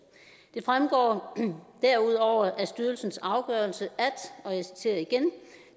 det fremgår derudover af styrelsens afgørelse at og jeg citerer igen